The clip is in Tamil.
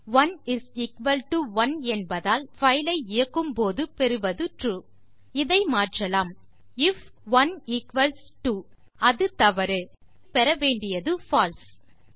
1 இஸ் எக்குவல் டோ 1 என்பதால் நம் பைல் ஐ இயக்கும்போது பெறுவது ட்ரூ இதை மாற்றலாம் ஐஎஃப் 1 ஈக்வல்ஸ் 2 அது தவற பின் பெற வேண்டியது பால்சே